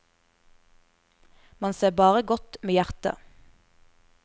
Man ser bare godt med hjertet.